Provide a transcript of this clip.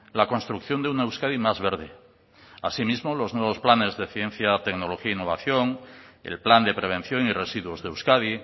la construcción de una euskadi más verde así mismo los nuevos planes de ciencia tecnología e innovación el plan de prevención y residuos de euskadi